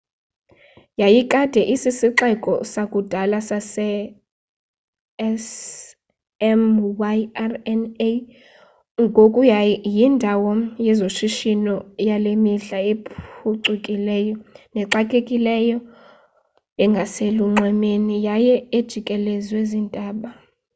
yayikade isisixeko sakudala sase-smyrna ngoku yindawo yezoshishino yale mihla ephucukileyo nexakekileyo engaselunxwemeni yaye ejikelezwe ziintaba